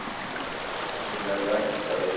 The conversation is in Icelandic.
ÞAÐ SEM ER VERT AÐ VITA